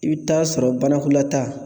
I bi t'a sɔrɔ banakɔlata